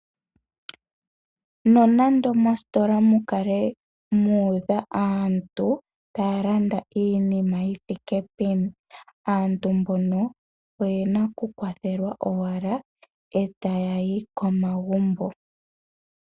Nonando mositola mu kale mu udha aantu taya landaiinima yi thike peni, aantu mbono oye na okukwathelwa owala, e taya yi komagumbo.